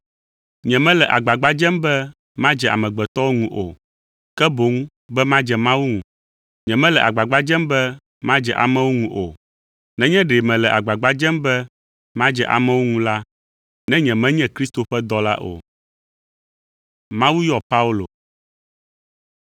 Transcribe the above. Nyemele agbagba dzem be madze amegbetɔwo ŋu o, ke boŋ be madze Mawu ŋu. Nyemele agbagba dzem be madze amewo ŋu o. Nenye ɖe mele agbagba dzem be madze amewo ŋu la, ne nyemenye Kristo ƒe dɔla o.